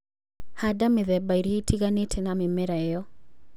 Handa mĩthemba ĩrĩa ĩtiganĩte na mĩmera ĩyo